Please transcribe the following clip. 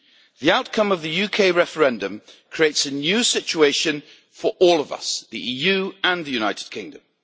The outcome of the UK referendum creates a new situation for all of us the EU and the United Kingdom.